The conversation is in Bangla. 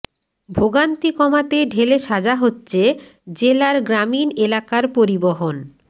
ভোগান্তি কমাতে ঢেলে সাজা হচ্ছে জেলার গ্রামীণ এলাকার পরিবহণ